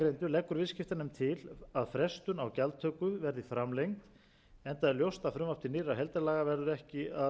leggur viðskiptanefnd til að frestun á gjaldtöku verði framlengd enda er ljóst að frumvarp til nýrra heildarlaga verður ekki að